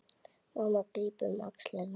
Mamma grípur um axlir hans.